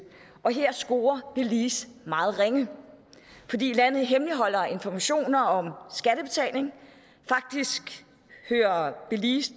og her scorer belize meget ringe fordi landet hemmeligholder informationer om skattebetaling faktisk kører belize